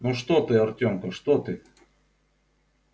ну что ты артёмка что ты